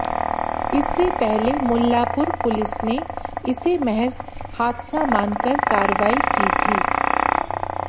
इससे पहले मुल्लांपुर पुलिस ने इसे महज हादसा मानकर कार्रवाई की थी